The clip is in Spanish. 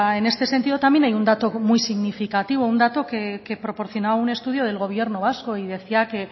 en este sentido también hay un dato muy significativo un dato que proporcionaba un estudio del gobierno vasco y decía que